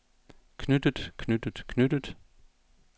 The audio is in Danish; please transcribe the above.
knyttet knyttet knyttet